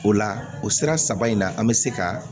O la o sira saba in na an bɛ se ka